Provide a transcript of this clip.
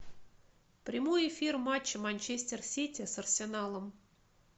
прямой эфир матча манчестер сити с арсеналом